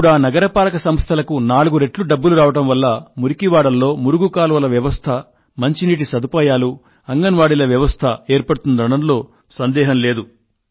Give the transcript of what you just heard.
ఇప్పుడా నగరపాలక సంస్థలకు నాలుగు రెట్లు డబ్బులు రావడం వల్ల మురికివాడల్లో మురుగు కాల్వల వ్యవస్థ మంచినీటి సదుపాయాలు అంగన్ వాడీల వ్యవస్థ ఏర్పడుతుందనడంలో సందేహం లేదు